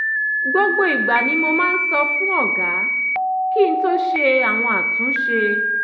gbogbo ìgbà ni mo máa ń sọ fún ọ̀gá kí n tó ṣe àwọn àtúnṣe